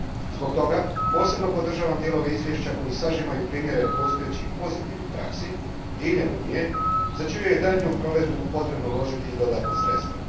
Zbog toga posebno podržavam dijelove izvješća koji sažimaju primjere postojećih pozitivnih praksi diljem Unije, za čiju je daljnju provedbu potrebno uložiti i dodatna sredstva.